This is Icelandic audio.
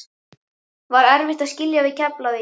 Var erfitt að skilja við Keflavík?